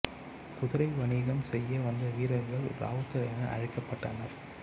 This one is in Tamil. குதிரை வணிகம் செய்ய வந்த வீரர்கள் இராவுத்தர் என்று அழைக்கப்பட்டனர்